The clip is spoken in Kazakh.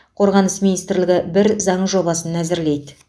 қорғаныс министрлігі бір заң жобасын әзірлейді